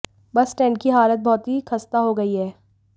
बस स्टैंड की हालत बहुत ही खस्ता हो गई है